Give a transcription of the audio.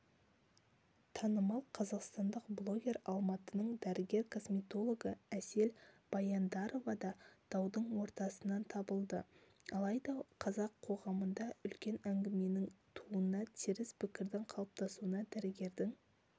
танымал қазақстандық блогер алматының дәрігер-косметологы әсел баяндарова да даудың ортасынан табылды алайда қазақ қоғамында үлкен әңгіменің тууына теріс пікірдің қалыптасуына дәрігердің